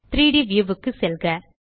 3ட் வியூ க்கு செல்க